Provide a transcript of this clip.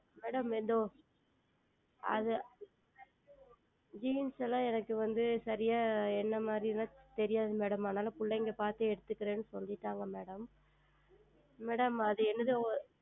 Madam அது ஏதோ Jeans எல்லாம் எனக்கு வந்து சரியாய் எந்த மாதிரி எல்லாம் தெரியாது Madam அதுனால் பிள்ளைகள் பார்த்து எடுத்துகிறேன் என்று சொல்லிட்டார்கள் Madam Madam அது ஏதோ